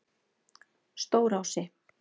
Stórási